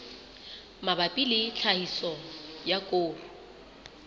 mabapi le tlhahiso ya koro